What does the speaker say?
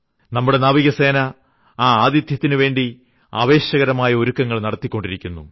നമ്മുടെ നാവികസേന ആ ആതിഥ്യത്തിനുവേണ്ടി ആവേശകരമായ ഒരുക്കങ്ങൾ നടത്തിക്കൊണ്ടിരിക്കുന്നു